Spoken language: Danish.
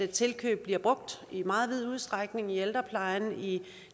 tilkøb bliver brugt i meget vid udstrækning i ældreplejen